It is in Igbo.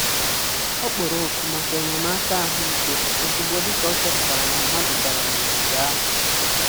Ọ kpọrọ oku maka enyemaka ahụike ozugbo dị ka ọ chọpụtara na mmadụ dara n'ogige ahụ.